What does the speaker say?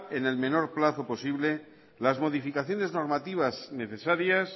en el menor plazo posible las modificaciones normativas necesarias